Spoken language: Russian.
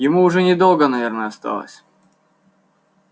ему уже недолго наверное осталось